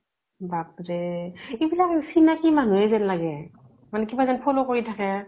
বাপ ৰে। এইবিলাক চিনাকী মানুহে যেন লাগে। কিনা যেন follow কৰি থাকে।